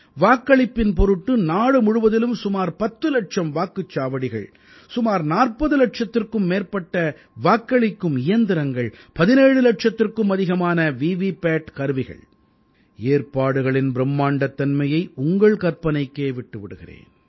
வாக்களிப்பின் பொருட்டு நாடு முழுவதிலும் சுமார் 10 இலட்சம் வாக்குச் சாவடிகள் சுமார் 40 இலட்சத்திற்கும் மேற்பட்ட வாக்களிக்கும் இயந்திரங்கள் 17 இலட்சத்திற்கும் அதிகமான வீவீபேட் கருவிகள் ஏற்பாடுகளின் பிரும்மாண்டத்தன்மையை உங்கள் கற்பனைக்கே விட்டு விடுகிறேன்